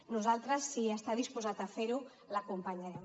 nosaltres si està disposat a fer ho l’acompanyarem